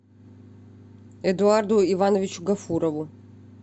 эдуарду ивановичу гафурову